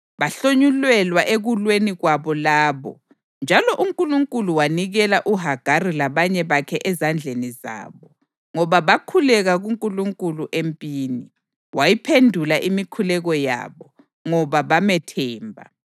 Bahlonyulelwa ekulweni kwabo labo, njalo uNkulunkulu wanikela uHagari labanye bakhe ezandleni zabo, ngoba bakhuleka kuNkulunkulu empini. Wayiphendula imikhuleko yabo, ngoba bamethemba.